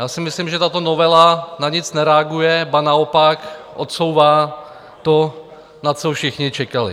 Já si myslím, že tato novela na nic nereaguje, ba naopak odsouvá to, na co všichni čekali.